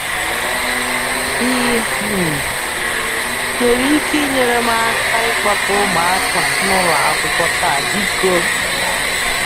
Ị um nwere ike inyere m aka ịkpọta ụmụaka n'ụlọakwụkwọ taa, biko?